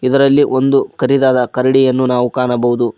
ಇದರಲ್ಲಿ ಒಂದು ಕರಿದಾದ ಕರಡಿಯನ್ನು ನಾವು ಕಾಣಬಹುದು.